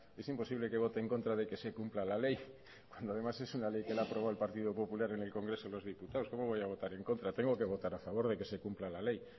es imposible que vote en contra de que se cumpla la ley cuando además es una ley que la ha aprobado el partido popular en el congreso de los diputados cómo voy a votar en contra tengo que votar a favor de que se cumpla la ley